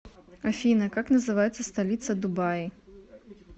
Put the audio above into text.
афина как называется столица дубаи